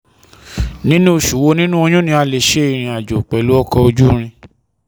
Ninu osu wo ninu Oyun ni a le se irin ajo pelu ọkọ oju iriǹ?